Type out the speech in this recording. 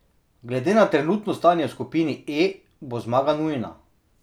Glede na trenutno stanje v skupini E, bo zmaga nujna.